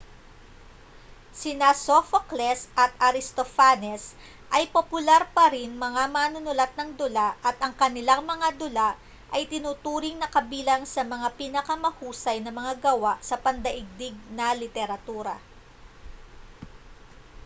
sina sophocles at aristophanes ay popular pa ring mga manunulat ng dula at ang kanilang mga dula ay itinuturing na kabilang sa mga pinakamahusay na mga gawa sa pandaigdig na literatura